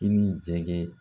I ni jɛgɛ